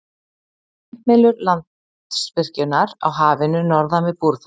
Vindmyllur Landsvirkjunar á Hafinu norðan við Búrfell.